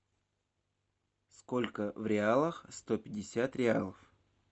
сколько в реалах сто пятьдесят реалов